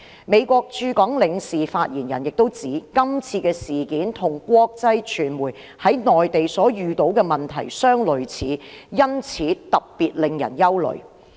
美國駐港領事發言人亦指，今次事件與國際傳媒在內地所遇到的問題相類似，因此特別令人憂慮。